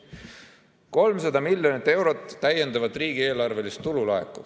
Laekub 300 miljonit eurot täiendavat riigieelarvelist tulu.